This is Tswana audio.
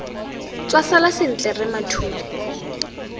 tswa sala sentle rre mathule